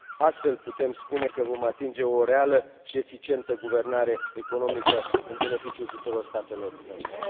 Astfel, putem spune că vom atinge o reală și eficientă guvernare economică în beneficiul tuturor statelor membre.